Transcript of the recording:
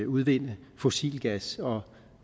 udvinde fossil gas og